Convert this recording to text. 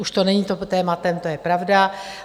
Už to není tématem, to je pravda.